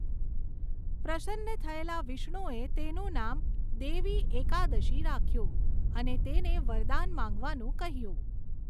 પ્રસન્ન થયેલા વિષ્ણુએ તેનું નામ દેવી 'એકાદશી' રાખ્યું અને તેને વરદાન માંગવાનું કહ્યું.